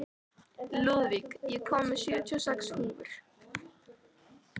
Lúðvíg, ég kom með sjötíu og sex húfur!